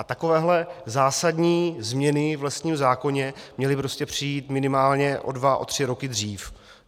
A takovéhle zásadní změny v lesním zákoně měly přijít minimálně o dva o tři roky dřív.